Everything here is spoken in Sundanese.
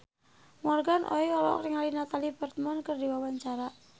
Morgan Oey olohok ningali Natalie Portman keur diwawancara